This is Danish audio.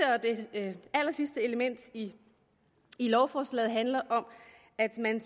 det allersidste element i lovforslaget handler om at man